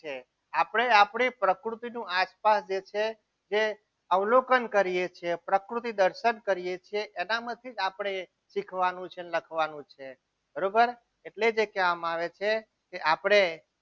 છે આપણે આપણી પ્રકૃતિનું આસપાસ જે છે જે અવલોકન કરીએ છીએ જે પ્રકૃતિ દર્શન કરીએ છીએ એના માંથી જ આપણે શીખવાનું છે અને લખવાનું છે બરોબર એટલે જ એ કહેવામાં આવે છે કે આપણે